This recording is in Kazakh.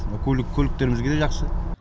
көлік көліктерімізге де жақсы